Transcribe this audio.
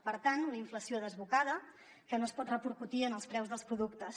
per tant una inflació desbocada que no es pot repercutir en els preus dels productes